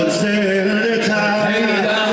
Heydər zülmkar!